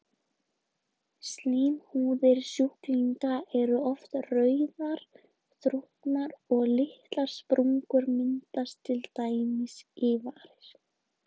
Slímhúðir sjúklinganna eru oft rauðar, þrútnar og litlar sprungur myndast til dæmis í varir.